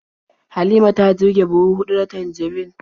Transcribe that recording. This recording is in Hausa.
Halima ta girbi buhu huɗu na tanjarin.